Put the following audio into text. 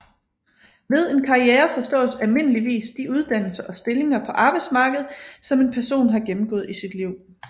Ved en karriere forstås almindeligvis de uddannelser og stillinger på arbejdsmarkedet som en person har gennemgået i sit liv